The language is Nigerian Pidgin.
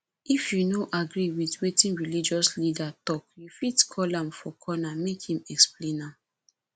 if you no agree with wetin religious leader talk you fit call am for corner make im explain more